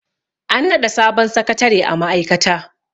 an naɗa sabon sakatare a ma'aikata